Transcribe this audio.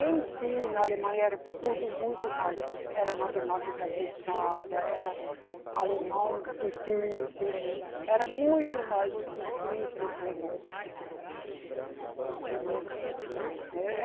Em si, na Alemanha, era tudo muito mais... Era matemática pesada, era alemão difícil, né, era muito mais difícil como, do como é aqui. Eh